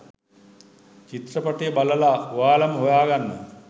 චිත්‍රපටිය බලලා ඔයාලම හොයාගන්න